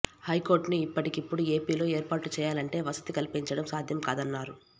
హైకోర్టును ఇప్పటికిప్పుడు ఏపీలో ఏర్పాటు చేయాలంటే వసతి కల్పించటం సాధ్యం కాదన్నారు